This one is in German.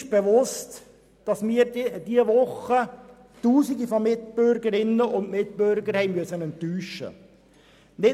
Wir sind uns bewusst, dass wir in dieser Woche Tausende von Mitbürgerinnen und Mitbürger haben enttäuschen müssen.